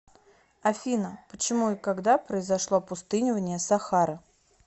афина почему и когда произошло опустынивание сахары